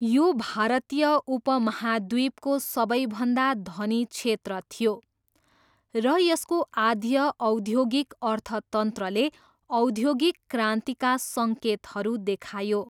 यो भारतीय उपमहाद्वीपको सबैभन्दा धनी क्षेत्र थियो, र यसको आद्य औद्योगिक अर्थतन्त्रले औद्योगिक क्रान्तिका सङ्केतहरू देखायो।